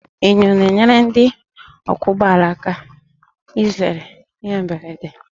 Enyo na-enyere ndị ọkwọ ụgbọala aka izere ihe mberede